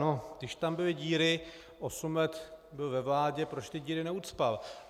No, když tam byly díry, osm let byl ve vládě, proč ty díry neucpal?